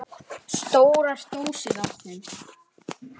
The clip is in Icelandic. Stórar dósir af þeim.